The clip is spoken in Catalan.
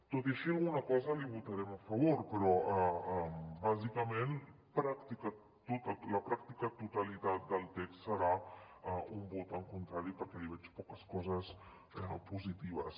tot i així alguna cosa li votarem a favor però bàsicament la pràctica totalitat del text serà un vot contrari perquè hi veig poques coses positives